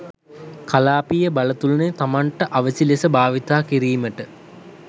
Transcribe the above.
කලාපීය බලතුලන‍ය තමන්ට අවැසි ලෙස භාවිතා කිරීමට